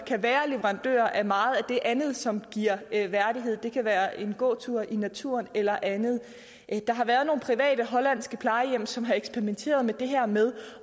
kan være leverandører af meget af det andet som giver værdighed det kan være en gåtur i naturen eller andet der har været nogle private hollandske plejehjem som har eksperimenteret med det her med